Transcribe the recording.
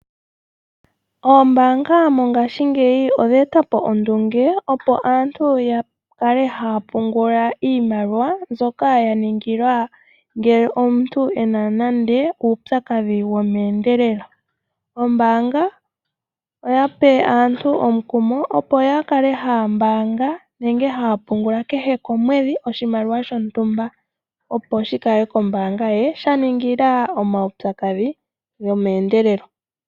Ombaanga mongaashingeyi oya etapo ondunge opo aantu yakale haya pungula iimaliwa mbyoka yaningilwa ngele omuntu ena nande uupyakadhi womeendelelo. Ombaanga oyape aantu omukumo opo yakale haya pungula kehw komwedhi oshimaliwa shontumba opo shikale kombaanga ye shaningila omaudhigu gomeendelelo.